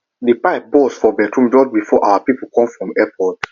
the pipe burst for bathroom just before our people come from airport